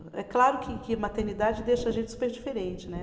É claro que que maternidade deixa a gente super diferente, né?